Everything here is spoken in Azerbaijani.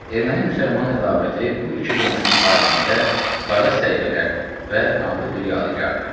Erməni-müsəlman ədavəti bu iki qonşunun tarixində qara səhifələrdir və qanlı bir yadigardır.